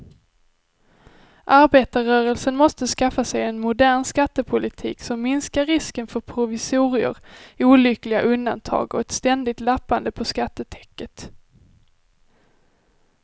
Arbetarrörelsen måste skaffa sig en modern skattepolitik som minskar risken för provisorier, olyckliga undantag och ett ständigt lappande på skattetäcket.